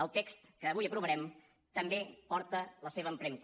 el text que avui aprovarem també porta la seva empremta